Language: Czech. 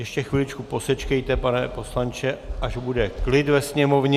Ještě chviličku posečkejte, pane poslanče, až bude klid ve sněmovně.